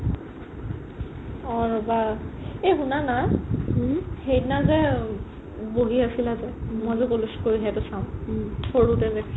অ ৰবা এই শুনা না সেইদিনা যে বহি আছিলা যে মই যে ক'লো চকুৰ হেৰিটো চাম সৰুতে যে